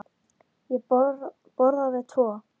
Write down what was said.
Ég borðaði tvo.